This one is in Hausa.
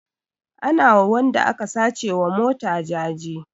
Ana wa wanda aka sace wa mota jaje